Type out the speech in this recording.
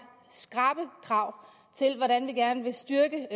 skrappe krav til hvordan vi gerne vil styrke